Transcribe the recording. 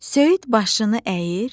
Söyüd başını əyir,